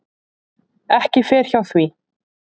Ekki fer hjá því.